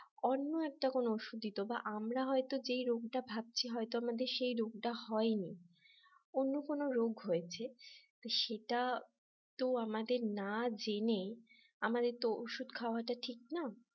অন্য একটা কোন ওষুধ দিত বা আমরা হয়তো যে রোগটা ভাবছি হয়তো আমাদের সে রোগটা হয়নি অন্য কোন রোগ হয়েছে। তো সেটা তো আমাদের না জেনে আমাদের তো ওষুধ খাওয়াটা ঠিক না